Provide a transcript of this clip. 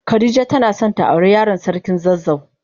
Khadijah tana son ta aure Yaran sarkin zazzau.